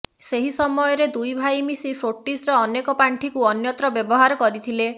ସେହି ସମୟରେ ଦୁଇ ଭାଇ ମିଶି ଫୋର୍ଟିସ୍ର ଅନେକ ପାଣ୍ଠିକୁ ଅନ୍ୟତ୍ର ବ୍ୟବହାର କରିଥିଲେ